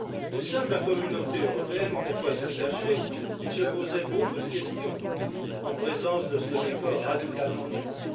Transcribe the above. Au sein de la Communauté européenne, pourquoi se le cacher, on se posait beaucoup de questions en présence de ce décor radicalement nouveau.